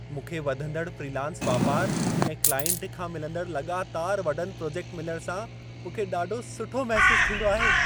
मूंखे वधंदड़ फ्रीलांस वापार ऐं क्लाइंट खां मिलंदड़ लॻातार वॾनि प्रोजेक्ट मिलण सां मूंखे ॾाढो सुठो महिसूस थींदो आहे।